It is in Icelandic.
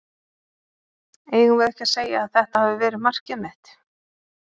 Eigum við ekki að segja að þetta hafi verið markið mitt?